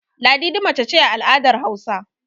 Ladidi mace ce a al'adar Hausawa.